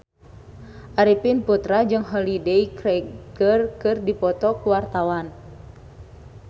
Arifin Putra jeung Holliday Grainger keur dipoto ku wartawan